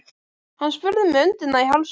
Hann spurði með öndina í hálsinum.